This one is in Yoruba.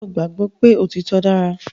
Ṣé o gbàgbọ́ pé òtítọ dára